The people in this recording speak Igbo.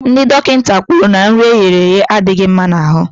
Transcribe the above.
Ndị dọkịta kwuru na nri eghere aghe adịghị mma n'ahụ